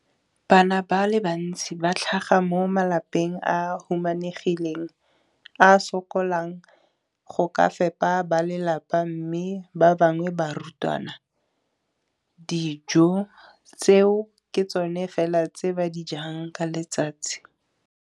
Bana ba le bantsi ba tlhaga mo malapeng a a humanegileng a a sokolang go ka fepa ba lelapa mme ba bangwe ba barutwana, dijo tseo ke tsona fela tse ba di jang ka letsatsi.